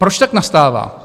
Proč tak nastává?